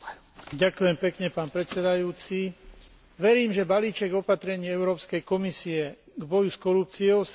Verím, že balíček opatrení Európskej komisie k boju s korupciou sa stane účinným nástrojom tohto boja.